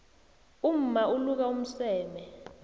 umma uluka umseme